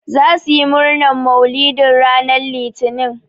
Zasu yi murnan mauluɗi ranan litinin.